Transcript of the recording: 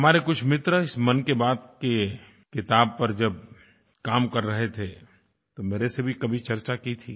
हमारे कुछ मित्र इस मन की बात की किताब पर जब काम कर रहे थे तो मेरे से भी कभी चर्चा की थी